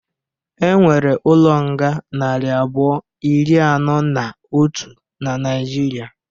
Enwere ụlo nga nari abụọ, ịrị anọ na ọtu na Naijịrị